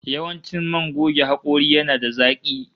Yawancin man goge hakori yana da zaki